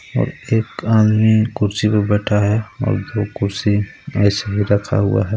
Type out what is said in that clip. और एक आदमी कुर्सी पर बैठा है और दो कुर्सी ऐसे ही रखा हुआ है.